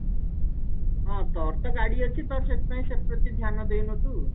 ହଁ ତୋର ତ ଗାଡି ଅଛି ତ ସେଥି ପାଇଁ ସେଥିରେ ବେଶୀ ଧ୍ୟାନ ଦେଇନୁ ତୁ